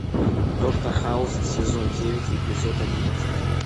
доктор хаус сезон девять эпизод одиннадцать